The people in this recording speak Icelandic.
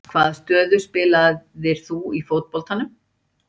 Hvaða stöðu spilaðir þú í fótboltanum?